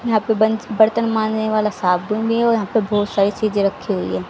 यहां पे बंच बर्तन मांजने वाला साबुन भी है और यहां पे बहोत सारी चीजे रखी हुई है।